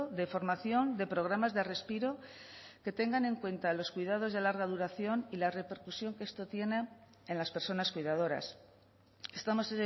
de formación de programas de respiro que tengan en cuenta los cuidados de larga duración y la repercusión que esto tiene en las personas cuidadoras estamos